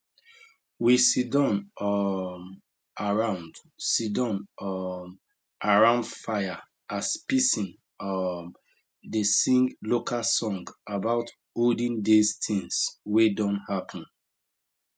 we siddon um round siddon um round fire as pisin um dey sing local song about olden days things wey don happen